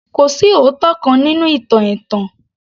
Kò sí òótọ́ kan nínú ìtàn ẹ̀tàn